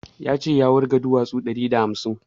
Ya ce ya wurga duwasu ɗari da hamsin